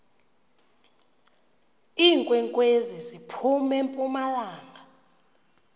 iinkwenkwezi ziphum empumalanga